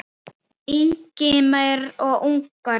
Ingimar og Inga Rósa.